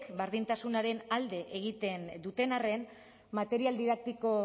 berdintasunaren alde egiten duten arren material didaktiko